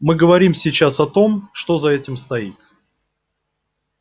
мы говорим сейчас о том что за этим стоит